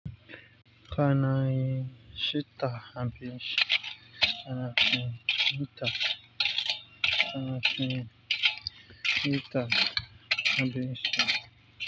Kana cin cinta, a abincii. Kana cin citta. Kana hin hita, har biyu shi.